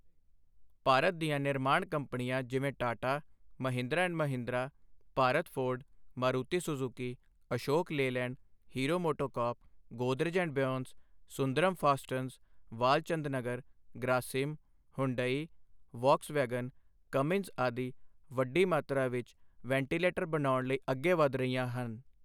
ਭਾਰਤ ਦੀਆਂ ਨਿਰਮਾਣ ਕੰਪਨੀਆਂ ਜਿਵੇਂ Tata, Mahindra and Mahindra, Bharat Ford, Maruti Suzuki, Ashok Leyland, Hero MotoCorp, Godrej and Boyce, Sundaram fasteners, Walchandnagar, Grasim, Hyundai, Volkswagen, Cummins ਆਦਿ ਵੱਡੀ ਮਾਤਰਾ ਵਿੱਚ ਵੈਂਟੀਲੇਟਰ ਬਣਾਉਣ ਲਈ ਅੱਗੇ ਵਧ ਰਹੀਆਂ ਹਨ।